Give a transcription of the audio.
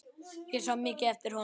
Ég sá mikið eftir honum.